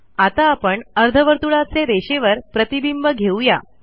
आता आपण अर्धवर्तुळाचे रेषेवर प्रतिबिंब घेऊ या